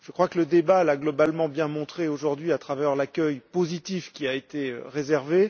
Je crois que le débat l'a globalement bien montré, aujourd'hui, à travers l'accueil positif qui lui a été réservé.